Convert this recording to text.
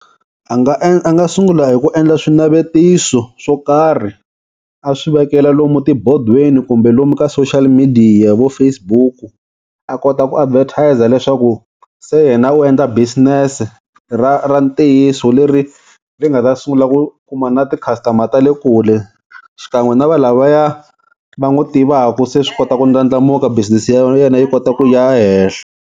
A nga a nga sungula hi ku endla swinavetiso swo karhi a swi vekela lomu tibodweni kumbe lomu ka social media vo Facebook-u a kota ku advertiser leswaku se yena u endla business-e ra ra ntiyiso leri ri nga ta sungula ku kuma na ti-customer ta le kule, xikan'we na valavaya va n'wu tivaku se swi kota ku ndlandlamuka business ya yena yi kota ku ya henhla.